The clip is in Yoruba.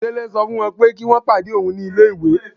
Délé sọ fún wọ́n pé kí wọ́n pàdé òun ní ilé-ìwé.